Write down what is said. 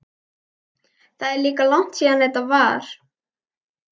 Það er líka langt síðan þetta var.